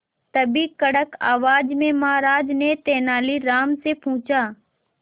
तभी कड़क आवाज में महाराज ने तेनालीराम से पूछा